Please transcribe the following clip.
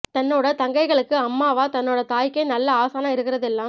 தன்னோட தங்கைகளுக்கு அம்மாவ தன்னோட தாய்க்கே நல்ல ஆசானா இருக்குறது எல்லாம்